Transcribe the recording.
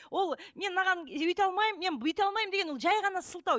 ол мен мынаған өйте алмаймын мен бүйте алмаймын деген ол жай ғана сылтау